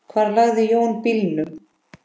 Hvar lagði Jón bílnum?